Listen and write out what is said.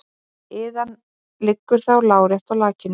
Iðan liggur þá lárétt í lakinu.